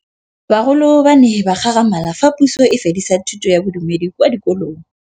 Bagolo ba ne ba gakgamala fa Pusô e fedisa thutô ya Bodumedi kwa dikolong.